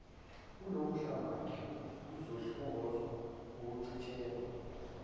kulowomhlangano kuzohlongozwa ukucitshiyelwa